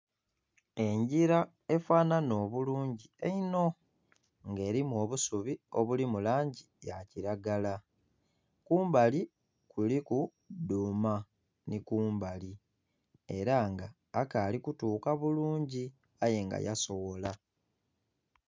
Engira efanana obulungi einho nga erimu obusubi obuli mu langi ya kilagala, kumbali kuliku duuma ni kumbali era nga akali ekutuuka bulungi aye nga ya soghola.